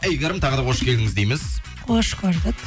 әйгерім тағы да қош келдіңіз дейміз қош көрдік